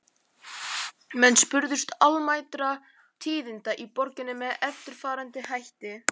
Menn spurðust almæltra tíðinda í borginni með eftirfarandi hætti